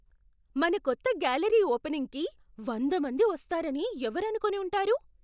మన కొత్త గ్యాలరీ ఓపెనింగ్కి వంద మంది వస్తారని ఎవరు అనుకొని ఉంటారు?